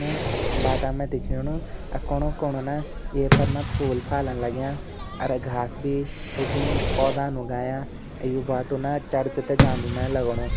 ना बाटा में दिख्याणु और कोणु-कोणु न ये फर न फूल-फाल लाग्यां और घास भी उगीं पौधान उगायां और ये बाटु न चर्च तें जांदू में लगणू।